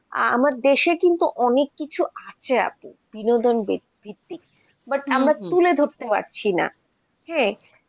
আমার দেশে কিন্তু অনেক কিছু আছে আপু, বিনোদন ভিত্তিক, but আমরা তুলে ধরতে পারছিনা, হ্যাঁ